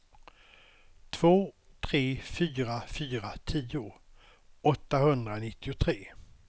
två tre fyra fyra tio åttahundranittiotre